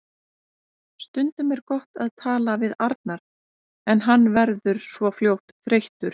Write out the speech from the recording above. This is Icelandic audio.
Stundum er gott að tala við Arnar en hann verður svo fljótt þreyttur.